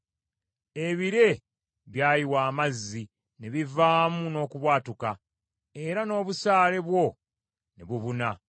Ebire byayiwa amazzi ne bivaamu n’okubwatuka, era n’obusaale bwo ne bubuna.